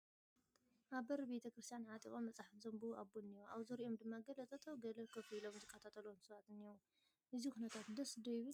ኣብ በሪ ቤተ ክርስቲያን ዓጢቖም መፅሓፍ ዘንብቡ ኣቦ እኔዉ፡፡ ኣብ ዙርይኦም ድማ ገለ ጠጠው ገለ ኮፍ ኢሎም ዝከታተልዎም ሰባት እኔዉ፡፡ እዚ ኩነታት ደስ ዶ ይብል?